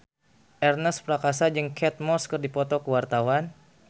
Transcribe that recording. Ernest Prakasa jeung Kate Moss keur dipoto ku wartawan